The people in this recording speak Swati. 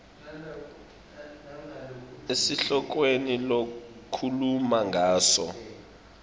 esihlokweni lokhuluma ngaso